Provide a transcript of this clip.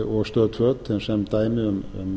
og stöð tvö sem dæmi um